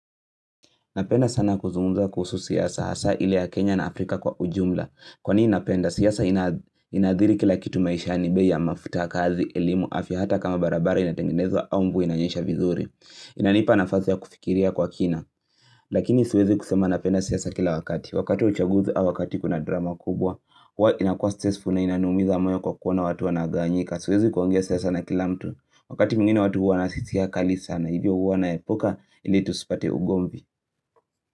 Napenda sana kuzungumza kuhusu siasa hasa ile ya Kenya na Afrika kwa ujumla. Kwa nini napenda? Siasa inaadhiri kila kitu maishani bei ya mafuta. Kazi, elimu, afya hata kama barabara inatengenezwa au mvua inanyesha vizuri. Inanipa nafasi ya kufikiria kwa kina. Lakini siwezi kusema napenda siasa kila wakati. Wakati uchaguzi au wakati kuna drama kubwa. Inakuwa stressful na inanumiza moyo kwa kuona watu wanagawanyika. Siwezi kuongea siasa na kilamtu. Wakati mwingine watu huwa na hisia kali sana. Na hivyo huwa naepuka ili tusipate ugomvi.